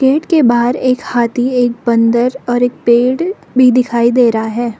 Gate के बाहर एक हाथी एक बंदर और एक पेड़ भी दिखाई दे रहा है।